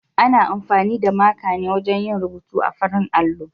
Ana amfani da maka ne wajen yin rubutu a farin allo.